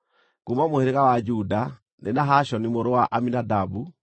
kuuma mũhĩrĩga wa Juda, nĩ Nahashoni mũrũ wa Aminadabu;